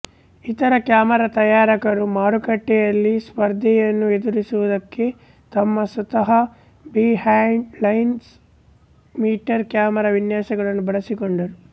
ಇತರ ಕ್ಯಾಮರಾ ತಯಾರಕರು ಮಾರುಕಟ್ಟೆಯಲ್ಲಿ ಸ್ಪರ್ಧೆಯನ್ನು ಎದುರಿಸುವುದಕ್ಕೆ ತಮ್ಮ ಸ್ವಂತ ಬಿಹೈಂಡ್ದಲೆನ್ಸ್ ಮೀಟರ್ ಕ್ಯಾಮರಾ ವಿನ್ಯಾಸಗಳನ್ನು ಬಳಸಿಕೊಂಡರು